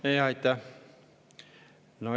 Aitäh!